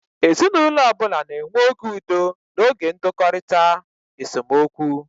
Ezinaụlọ ọ bụla na-enwe oge udo na oge ndọkọrita (esemokwu).